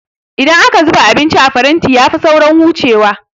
Idan aka zuba abinci a faranti ya fi saurin hucewa